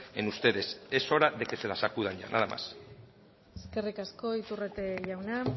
en ustedes es hora de que se la sacudan ya nada más eskerrik asko iturrate jauna